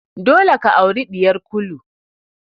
Dole ka aure ɗiyar Kulu!